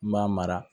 N b'a mara